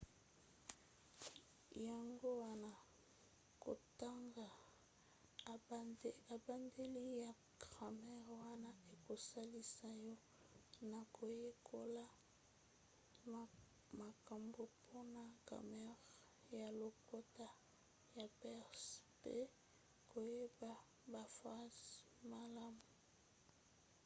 yango wana kotanga ebandeli ya gramere wana ekosalisa yo na koyekola makambo mpona gramere ya lokota ya perse mpe koyeba baphrase malamu